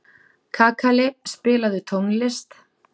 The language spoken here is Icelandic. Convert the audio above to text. Kakali, spilaðu tónlist.